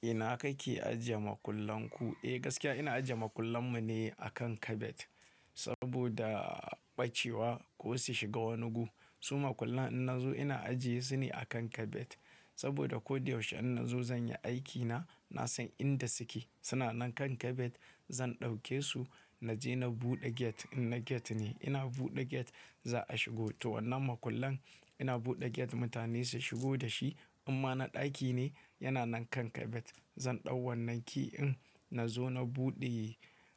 Ina kake ajiye makullan ku? Eh gaskiya ina ajiye makullan mu ne akan kabet. Saboda ɓacewa ko su shiga wani gu. Su makullan in na zo ina ajiye sune akan kabet. Saboda ko da yaushe in na zo zan yi aikina, na san inda suke. Suna nan kan kabet zan ɗauke su na je na buɗe gate in na gate ne. Ina buɗe gate za a shigo. To wannan makullan ina buɗe gate mutane su shigo da shi. Imma na ɗaki ne, yana nan kan kabet. Zan ɗau wannan key in na zo na buɗe